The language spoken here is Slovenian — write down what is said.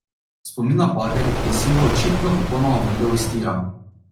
Spomin na bager je Silvo očitno popolnoma vrgel iz tira.